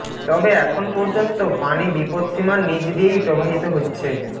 তবে এখন পর্যন্ত পানি বিপদসীমার নিচ দিয়েই প্রবাহিত হচ্ছে